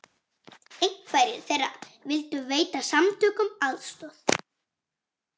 Einhverjir þeirra vildu veita samtökunum aðstoð